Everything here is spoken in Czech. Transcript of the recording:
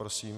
Prosím.